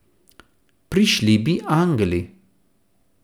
Prišli bi angeli.